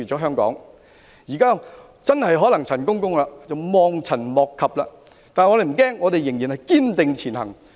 香港現時真的可能望塵莫及，但我們不用害怕，要堅定前行。